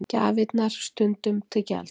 Gjafirnar stundum til gjalda